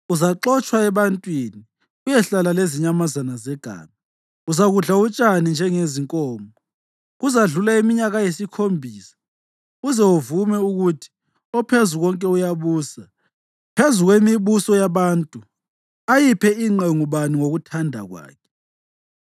Uzaxotshwa ebantwini uyehlala lezinyamazana zeganga; uzakudla utshani njengezinkomo. Kuzadlula iminyaka eyisikhombisa uze uvume ukuthi oPhezukonke uyabusa phezu kwemibuso yabantu ayiphe ingqe ngubani ngokuthanda kwakhe.”